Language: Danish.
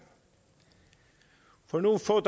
for nogle få